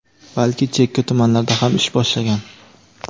balki chekka tumanlarda ham ish boshlagan.